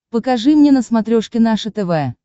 покажи мне на смотрешке наше тв